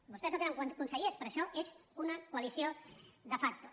vostès no tenen consellers però això és una coalició de facto